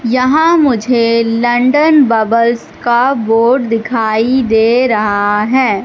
यहाँ मुझे London bubbles का बोर्ड दिखाई दे रहा है।